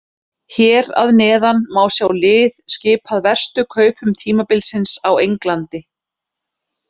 Hér að neðan má sjá lið skipað verstu kaupum tímabilsins á Englandi.